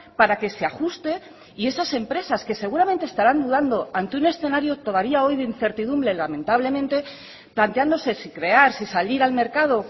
para que se ajuste y esas empresas que seguramente estarán dudando ante un escenario todavía hoy de incertidumbre lamentablemente planteándose si crear si salir al mercado